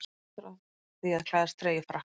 Ég er stoltur af því að klæðast treyju Frakklands.